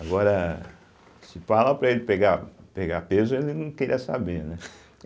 Agora, se falar para ele pegar pegar peso, ele não queria saber, né.